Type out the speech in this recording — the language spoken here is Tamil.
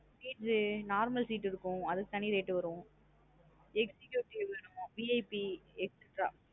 Seats normal seat இருக்கும் அதுக்கு தனி rate வரும் executive VIP extra